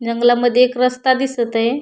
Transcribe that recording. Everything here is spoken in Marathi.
जंगलामध्ये एक रस्ता दिसतय.